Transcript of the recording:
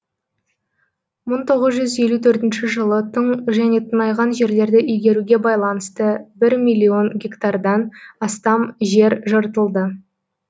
мың тоғыз жүз елу төртінші жылы тың және тыңайған жерлерді игеруге байланысты бір миллион гектардан астам жер жыртылды